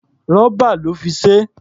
Rọ́bà lọ́ fi ṣe é.